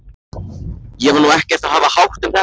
Ég var nú ekkert að hafa hátt um þetta.